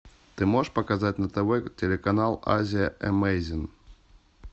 ты можешь показать на тв телеканал азия эмейзинг